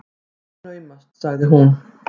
Það er naumast, sagði hún.